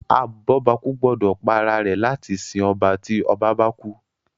abobaku gbódò pá àrà rẹ láti sìn ọba tí ọba bá kú